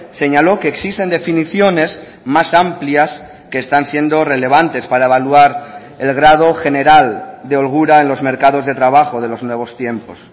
señaló que existen definiciones más amplias que están siendo relevantes para evaluar el grado general de holgura en los mercados de trabajo de los nuevos tiempos